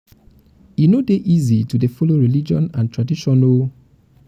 e no dey easy to dey follow religion and tradition o